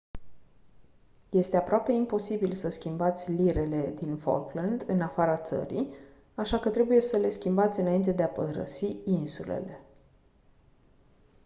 este aproape imposibil să schimbați lirele din falkland în afara țării așa că trebuie să le schimbați înainte de a părăsi insulele